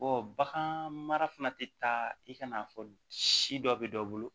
bagan mara fana tɛ taa i ka n'a fɔ si dɔ bɛ dɔ bolo